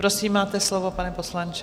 Prosím, máte slovo, pane poslanče.